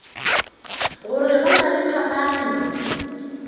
gore go na le phapano